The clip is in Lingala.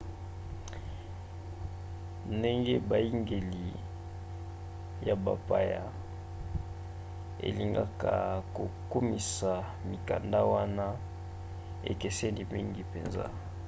ndenge biyangeli ya bapaya elingaka kokumisa mikanda wana ekeseni mingi mpenza